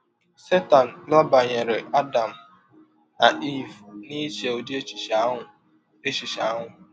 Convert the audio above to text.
Setan rabanyere Adam na Eve n’iche ụdị echiche ahụ echiche ahụ.